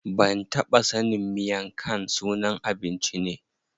Ban taɓa sanin miang khan sunan abinci ne.